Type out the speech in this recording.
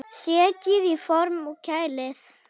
Setjið í form og kælið.